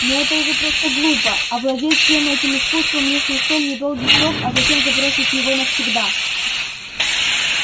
но это же просто глупо овладеть всем этим искусством лишь на столь недолгий срок а затем забросить его навсегда